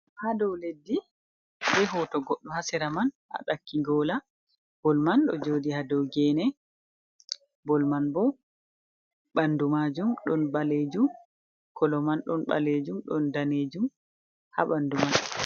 Ha dow leddi be hoto goɗɗo ha sera man a ɗakki gola, bol man ɗo joɗi ha dow gene, bol man ɓo ɓandu majum ɗon ɓalejum, kolo man ɗon balejum ɗon danejum ha ɓandu man.